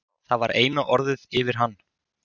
Það var eina orðið yfir hann.